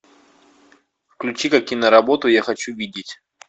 включи ка киноработу я хочу видеть